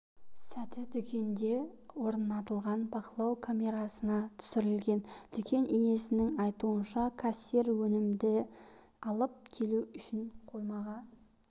сәті дүкенде орнатылған бақылау камерасына түсірілген дүкен иесінің айтуынша кассир өнімді алып келу үшін қоймаға